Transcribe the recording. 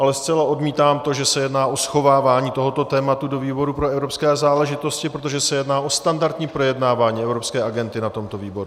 Ale zcela odmítám to, že se jedná o schovávání tohoto tématu do výboru pro evropské záležitosti, protože se jedná o standardní projednávání evropské agendy na tomto výboru.